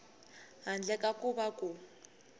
handle ka ku va ku